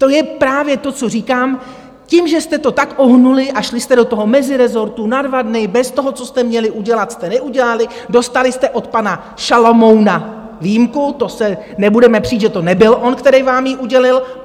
To je právě to, co říkám - tím, že jste to tak ohnuli a šli jste do toho mezirezortu na dva dny bez toho, co jste měli udělat, jste neudělali, dostali jste od pana Šalomouna výjimku - to se nebudeme přít, že to nebyl on, který vám ji udělil.